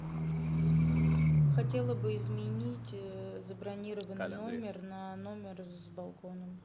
хотела бы изменить забронированный номер на номер с балконом